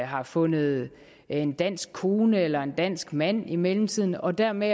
har fundet en dansk kone eller en dansk mand i mellemtiden og dermed